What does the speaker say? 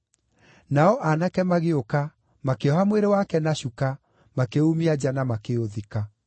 Nao aanake magĩũka, makĩoha mwĩrĩ wake na cuka, makĩuumia nja na makĩũthika.